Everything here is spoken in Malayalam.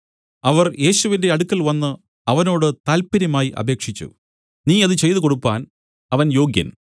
അവർ യേശുവിന്റെ അടുക്കൽ വന്നു അവനോട് താല്പര്യമായി അപേക്ഷിച്ചു നീ അത് ചെയ്തുകൊടുപ്പാൻ അവൻ യോഗ്യൻ